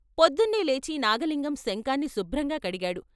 పొద్దున్నే లేచి నాగలింగం శంఖాన్ని శుభ్రంగా కడిగాడు.